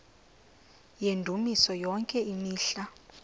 yendumiso yonke imihla